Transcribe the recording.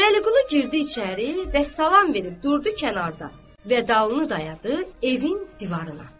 Vəliqulu girdi içəri və salam verib durdu kənarda və dalını dayadı evin divarına.